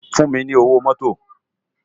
Fún mi ni ówó mòtó